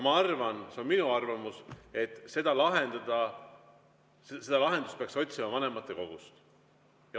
Ma arvan – see on minu arvamus –, et seda lahendust peaks otsima vanematekogus.